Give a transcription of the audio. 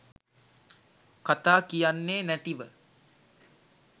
කතා කියන්නේ නැතිව.